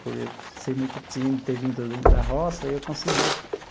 Por eu ser muito tímido, ter vindo da roça, eu consegui.